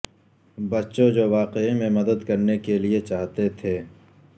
بچوں جو واقعی میں مدد کرنے کے لئے چاہتے تھے